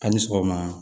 A ni sɔgɔma